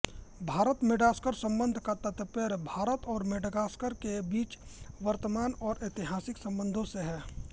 भारतमेडागास्कर संबंध का तात्पर्य भारत और मेडागास्कर के बीच वर्तमान और ऐतिहासिक संबंधों से है